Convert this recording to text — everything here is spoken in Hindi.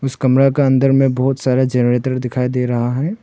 इस कमरा का अंदर में बहुत सारा जनरेटर दिखाई दे रहा है।